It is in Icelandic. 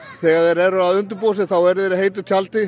þegar þeir eru að undirbúa sig eru þeir í heitu tjaldi